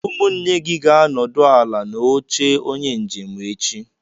Ụmụnne gị ga-anọdụ ala n'oche onye njem echi.